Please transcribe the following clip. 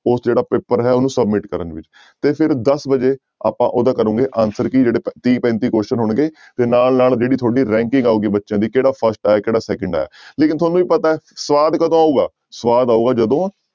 ਉਹ ਜਿਹੜਾ ਪੇਪਰ ਹੈ ਉਹਨੂੰ submit ਕਰਨ ਲਈ ਤੇ ਫਿਰ ਦਸ ਵਜੇ ਆਪਾਂ ਉਹਦਾ ਕਰੋਂਗੇ answer ਕੀ ਜਿਹੜੇ ਤੀਹ ਪੈਂਤੀ question ਹੋਣਗੇ ਤੇ ਨਾਲ ਨਾਲ ਜਿਹੜੀ ਤੁਹਾਡੀ ranking ਆਊਗੀ ਬੱਚਿਆਂ ਦੀ ਕਿਹੜਾ first ਆਇਆ ਕਿਹੜਾ second ਆਇਆ ਲੇਕਿੰਨ ਤੁਹਾਨੂੰ ਵੀ ਪਤਾ ਹੈ ਸਵਾਦ ਕਦੋਂ ਆਊਗਾ ਸਵਾਦ ਆਊਗਾ ਜਦੋਂ